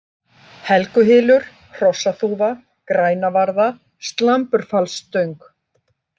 Helguhylur, Hrossaþúfa, Grænavarða, Slamburfallsstöng